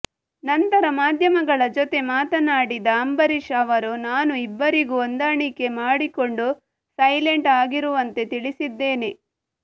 ನಂತರ ಮಾಧ್ಯಮಗಳ ಜೊತೆ ಮಾತನಾಡಿದ ಅಂಬರೀಶ್ ಅವರು ನಾನು ಇಬ್ಬರಿಗೂ ಹೊಂದಾಣಿಕೆ ಮಾಡಿಕೊಂಡು ಸೈಲೆಂಟ್ ಆಗಿರುವಂತೆ ತಿಳಿಸಿದ್ದೇನೆ